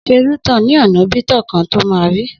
Sẹ ú –tọń ní onà bi tọ kan tọ mà rí!